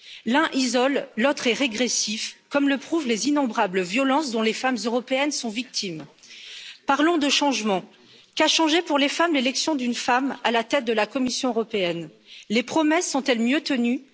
L'un isole, l'autre est régressif, comme le prouvent les innombrables violences dont les femmes européennes sont victimes. Parlons de changement. Qu'a changé, pour les femmes, l'élection d'une femme à la tête de la Commission? Les promesses sont elles mieux